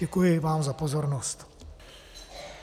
Děkuji vám za pozornost.